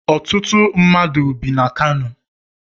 Ọtụtụ mmadụ bi na Kano